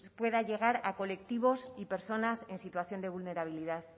pueda llegar a colectivos y personas en situación de vulnerabilidad